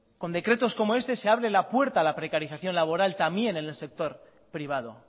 con decretos como este se abre la puerta a la precarización laboral también en el sector privado